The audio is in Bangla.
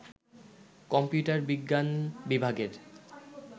কম্পিউটার বিজ্ঞান বিভাগের